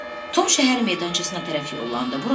Tom şəhər meydançasına tərəf yollanıb.